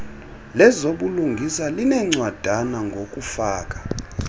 lezobulungisa linencwadana ngokufaka